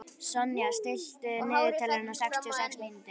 Sonja, stilltu niðurteljara á sextíu og sex mínútur.